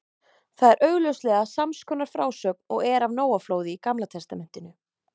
Það er augljóslega sams konar frásögn og er af Nóaflóði í Gamla testamentinu.